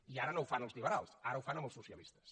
i ara no ho fan els lliberals ara ho fan amb els socialistes